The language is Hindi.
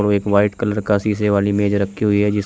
एक व्हाइट कलर का शीशे वाली मेज रखी हुई है जिस--